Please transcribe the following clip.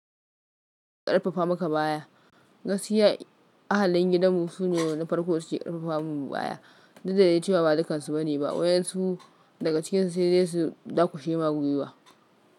Karfafa maka baya. Gaskiya ahalin gidanmu su ne na farko su ke karfafa mun baya. Duk dade cewa ba dukansu bane ba, wayen su daga cikinsu sai dai su dakushe ma gwiwa.